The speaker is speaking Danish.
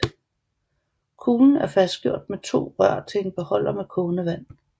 Kuglen af fastgjort med to rør til en beholder med kogende vand